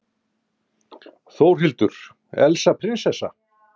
Þórhildur: Elsa prinsessa?